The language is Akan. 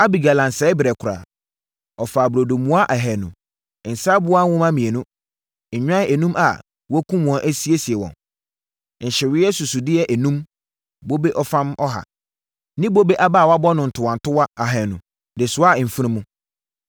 Abigail ansɛe berɛ koraa. Ɔfaa burodo mua ahanu, nsã aboa nwoma mmienu, nnwan enum a wɔakum wɔn asiesie wɔn, nkyeweɛ susudeɛ enum, bobe ɔfam ɔha ne bobe aba a wɔabɔ no ntowantowa ahanu de soaa mfunumu.